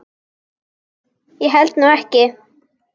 Ég held nú ekki.